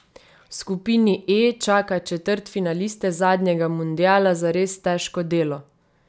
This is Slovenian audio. V skupini E čaka četrtfinaliste zadnjega mundiala zares težko delo.